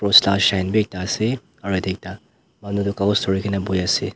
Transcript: cross la shine bi ekta ase aro yatae ekta manu toh kakos dhurikaena boiase.